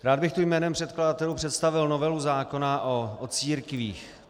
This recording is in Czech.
Rád bych tu jménem předkladatelů představil novelu zákona o církvích.